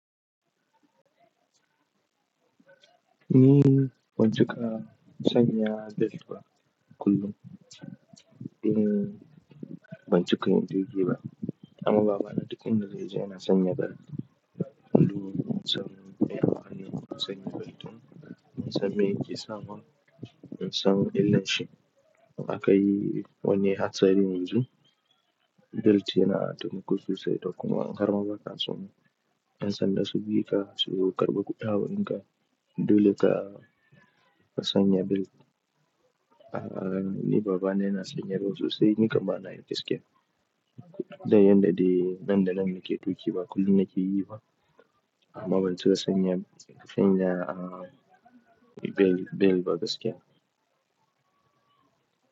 Ni ban cika sanya belt ba kullum. Ni ban cika yin duk shi ba. Amma baba na duk inda zai je yana sanya belt. Saboda sam, ya ƙane sanya beltin, saboda me? Kisa mun, san illanshi. Akayi wani hatsari yanzu, belt yana taimako sosai da kuma an harma baka son. Yan sanda su bi ka, su karɓi kuɗi a wurinka dole ka ka sanya belt. Ah, ni baba na yana sanya belt sosai, ni kam bana yi gaskiya. Da yanda dai nan da nan nake tuƙi ba kullum nake yi ba. Amma ban cika sanya, sanya ah, be-belt ba gaskiya.